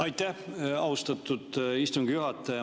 Aitäh, austatud istungi juhataja!